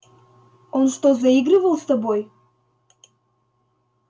он что заигрывал с тобой